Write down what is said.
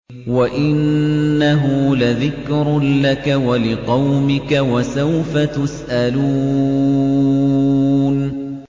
وَإِنَّهُ لَذِكْرٌ لَّكَ وَلِقَوْمِكَ ۖ وَسَوْفَ تُسْأَلُونَ